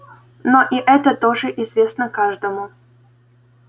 но и это тоже известно каждому